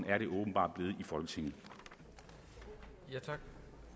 at det åbenbart er